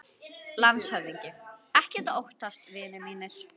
LANDSHÖFÐINGI: Ekkert að óttast, vinir mínir.